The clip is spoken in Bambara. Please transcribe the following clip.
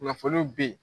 Kunnafoniw be ye